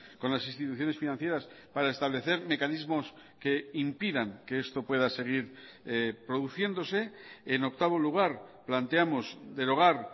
con las instituciones financieras para establecer mecanismos que impidan que esto pueda seguir produciéndose en octavo lugar planteamos derogar